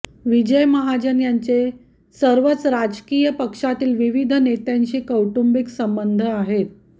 विजय महाजन यांचे सर्वच राजकीय पक्षातील विविध नेत्यांशी कौटुंबिक संबंध आहेत